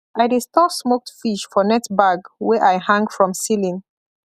i dey store smoked fish for net bag wey i hang from ceiling